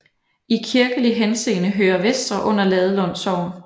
I kirkelig henseende hører Vestre under Ladelund Sogn